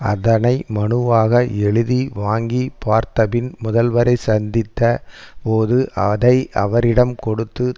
அதனை மனுவாக எழுதி வாங்கி பார்த்திபன் முதல்வரை சந்தித்த போது அதை அவரிடம் கொடுத்து